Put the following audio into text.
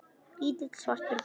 Lítill, svartur bíll.